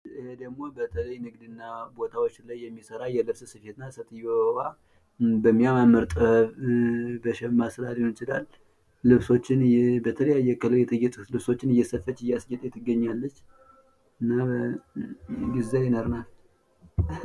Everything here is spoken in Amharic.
የሄ ደግሞ በጥበብ ሥራ የምስራ የጥበብ ሥራ ልብሶችን በተአለያዩ በሸማ ሥራ ሊሆን ይቺላል ::ልብሶችን በተለያየ አይነት ዲሳይን እየሰራች ነው ዲሳይነር ናት ::